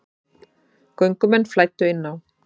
Göngumenn flæddu inn á